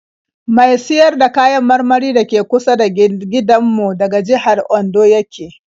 Mai siyar da kayan marmari da ke kusa da gindanmu daga jihar Ondo ya ke